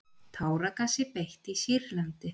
Táragasi beitt í Sýrlandi